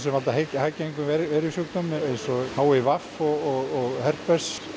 hæggengum veirusjúkdómum eins og h i v og herpes